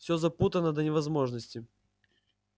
всё запутано до невозможности